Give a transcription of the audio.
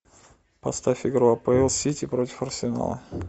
поставь игру апл сити против арсенала